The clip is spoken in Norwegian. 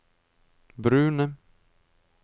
brune